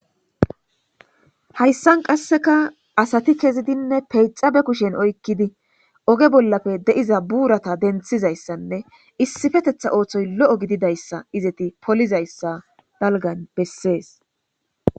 hayssan qasseka asati kezidinne peyxabe kushen oykkidi oge bollafe de7iza buurata denthizayssanne issifetetha ooththoy lo7o gididayssa izeti polizayssa dalgan bessees